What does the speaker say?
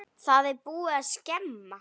Það er búið að skemma.